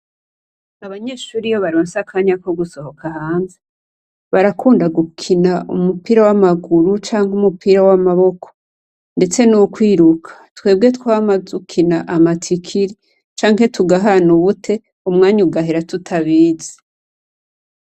Abanyeshure iyo baronse akanya ko gusohoka hanze, barakunda gukina umupira w'amaguru, canke umupira w'amaboko, ndetse n'ukwiruka. Twebwe twama dukina amatikiri canke tugahana ubute, umwanya ugahera tutabizi.